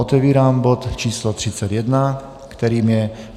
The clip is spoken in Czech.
Otevírám bod číslo 31, kterým je